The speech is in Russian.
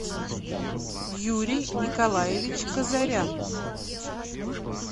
юрий николаевич казарян